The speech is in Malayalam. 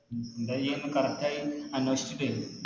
ന്താ ചെയ്യാന്ന് Correct ആയി ഒന്ന് അന്വേഷിച്ചിട്ടേ